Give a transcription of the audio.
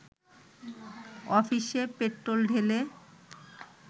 অফিসে পেট্রোল ঢেলে